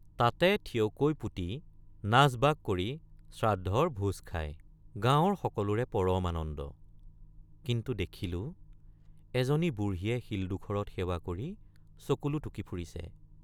তাতে থিয়কৈ পুতি নাচবাগ কৰি শ্ৰাদ্ধৰ ভোজ খায় ৷ গাঁৱৰ সকলোৰে পৰম আনন্দ কিন্তু দেখিলোঁ এজনী বুঢ়ীয়ে শিলডোখৰত সেৱা কৰি চকুলো টুকি ফুৰিছে।